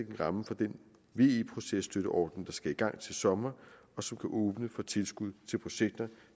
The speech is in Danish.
en ramme for den ve processtøtteordning der skal i gang til sommer og som kan åbne for tilskud til projekter